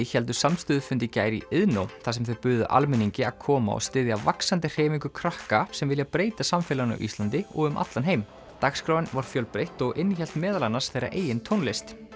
héldu samstöðufund í gær í Iðnó þar sem þau buðu almenningi að koma og styðja vaxandi hreyfingu krakka sem vilja breyta samfélaginu á Íslandi og um allan heim dagskráin var fjölbreytt og innihélt meðal annars þeirra eigin tónlist